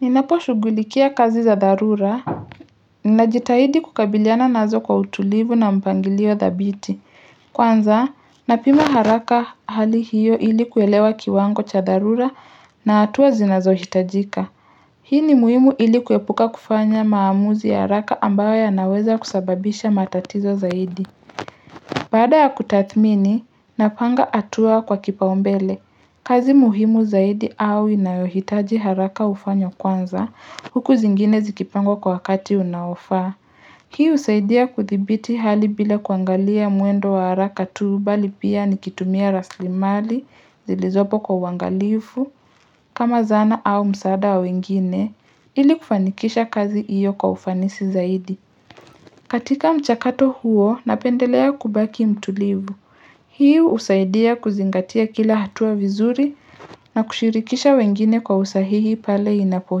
Ninapo shugulikia kazi za dharura ninajitahidi kukabiliana nazo kwa utulivu na mpangilio dhabiti Kwanza napima haraka hali hiyo ilikuwelewa kiwango cha dharura na atuwa zinazo hitajika Hii ni muhimu ilikuwepuka kufanya maamuzi ya haraka ambayo ya naweza kusababisha matatizo zaidi Baada ya kutathmini, napanga hatua kwa kipaumbele, kazi muhimu zaidi au inayohitaji haraka hufanywa kwanza, huku zingine zikipangwa kwa wakati unaofaa. Hii husaidia kuthibiti hali bila kuangalia muendo wa haraka tuubali pia nikitumia raslimali, zilizopo kwa uangalifu, kama zana au msada wengine, ili kufanikisha kazi iyo kwa ufanisi zaidi. Katika mchakato huo, napendelea kubaki mtulivu. Kwanza napima haraka hali iyo ili kuelewa kiwango cha dharura na hatua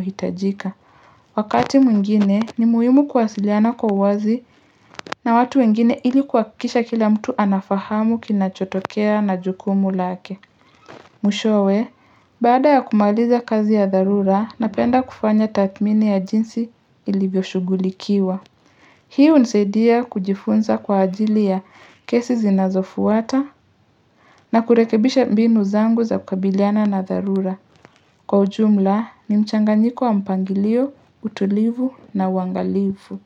zinazohitajika Wakati mwingine, ni muhimu kwasiliana kwa wazi na watu wengine ilikuakisha kila mtu anafahamu kina chotokea na jukumu lake. Mwishowe baada ya kumaaliza kazi ya dharura na penda kufanya tathmini ya jinsi ilivyoshugulikiwa Hii hunisadia kujifunza kwa ajili ya kesi zinazofuata na kurekebisha mbinu zangu za kukabiliana na dharura Kwa ujumla ni mchanganyiko wa mpangilio, utulivu na uwangalifu.